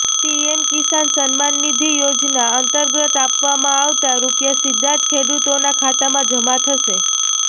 PM કિસાન સમ્માન નિધિ યોજના અંતર્ગત આપવામાં આવતાં રૂપિયા સીધા જ ખેડૂતોના ખાતામાં જમા થશે